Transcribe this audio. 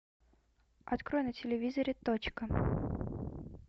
открой на телевизоре точка